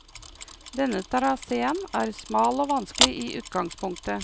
Denne traséen er smal og vanskelig i utgangspunktet.